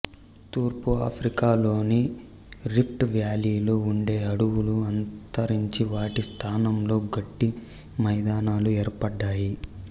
తూర్పు ఆఫ్రికా లోని రిఫ్ట్ వ్యాలీలో ఉండే అడవులు అంతరించి వాటి స్థానంలో గడ్డి మైదానాలు ఏర్పడ్డాయి